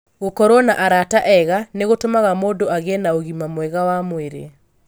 Gũkorũo na arata ega nĩ gũtũmaga mũndũ agĩe na ũgima mwega wa mwĩrĩ.